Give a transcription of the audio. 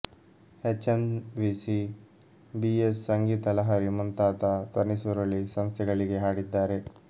ಹೆಚ್ M V C B S Sangeetha Lahari ಮುಂತಾದ ಧ್ವನಿಸುರುಳಿ ಸಂಸ್ಥೆಗಳಿಗೆ ಹಾಡಿದ್ದಾರೆ